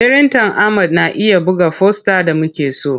Firintan Ahmad na iya buga fosta da muke so.